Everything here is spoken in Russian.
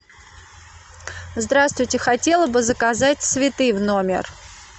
здравствуйте хотела бы заказать цветы в номер